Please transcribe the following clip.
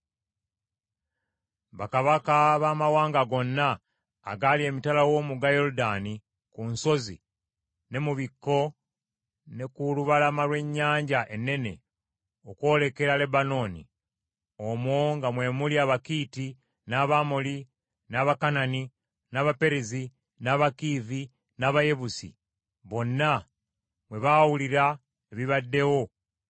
Bakabaka baamawanga gonna agaali emitala w’omugga Yoludaani ku nsozi ne mu bikko ne ku lubalama lw’ennyanja ennene okwolekera Lebanooni; omwo nga mwe muli Abakiiti, n’Abamoli, n’Abakanani, n’Abaperezi, n’Abakiivi, n’Abayebusi bonna bwe baawulira ebibaddewo